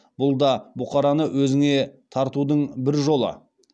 бұл да бұқараны өзіңе тартудың бір жолы